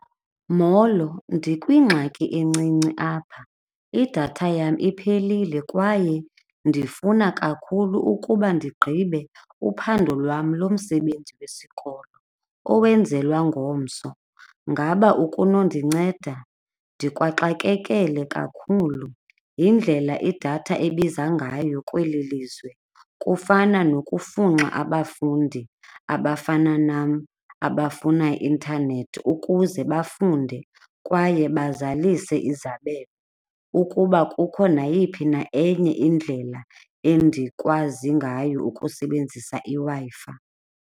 Molo, ndikwingxaki encinci apha, idatha yam iphelile kwaye ndifuna kakhulu ukuba ndigqibe uphando lwam lomsebenzi wesikolo owenzelwa ngomso. Ngaba ukunondinceda, ndikwaxakekele kakhulu yindlela idatha ebiza ngayo kweli lizwe kufana nokufunxa abafundi abafana nam abafuna i-intanethi ukuze bafunde kwaye bazalise izabelo. Ukuba kukho nayiphi na enye indlela endikwazi ngayo ukusebenzisa i-Wi-Fi.